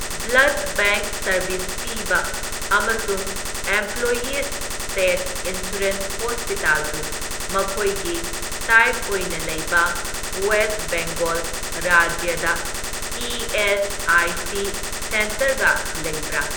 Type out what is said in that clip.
Blood bank service ꯄꯤꯕ ꯑꯃꯁꯨꯡ employees' state insurance ꯍꯣꯁꯄꯤꯇꯜꯕꯨ ꯃꯈꯣꯏꯒꯤ ꯇꯥꯏꯞ ꯑꯣꯏꯅ ꯂꯩꯕ ꯋꯦꯁꯠ ꯕꯦꯡꯒꯣꯜ ꯔꯥꯖ꯭ꯌꯗ ꯏ.ꯑꯦꯁ.ꯑꯥꯏ.ꯁꯤ. ꯁꯦꯟꯇꯔꯒ ꯂꯩꯕ꯭ꯔꯥ?